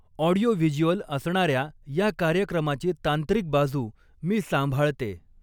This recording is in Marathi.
ऑडिओव्हिज्युअल असणाऱ्या या कार्यक्रमाची तांत्रिक बाजू मी सांभाळते.